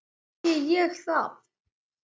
Ekki segi ég það.